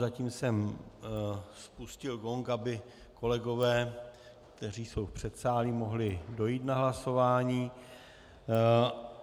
Zatím jsem spustil gong, aby kolegové, kteří jsou v předsálí, mohli dojít na hlasování.